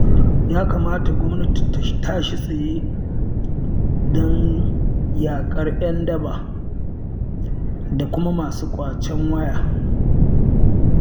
Ya kamata gwamnati ta tashi tsaye don yaƙar 'yan daba da kuma masu ƙwacen waya.